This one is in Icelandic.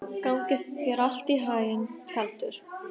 Gangi þér allt í haginn, Tjaldur.